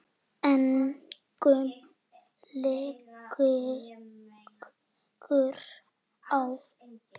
Engum liggur á.